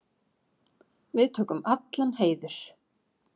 Við tökum allan heiður.